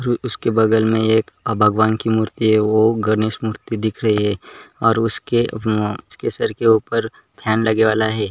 रु उसके बगल में एक भगवान की मूर्ती है ओ गणेश मूर्ती दिख रही है और उस के अ उसके सर के उपर फैन लगे वाला है।